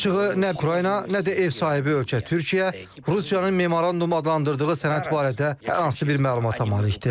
Açığı nə Ukrayna, nə də ev sahibi ölkə Türkiyə Rusiyanın memorandum adlandırdığı sənəd barədə hər hansı bir məlumata malikdir.